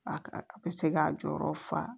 A a bɛ se k'a jɔyɔrɔ fa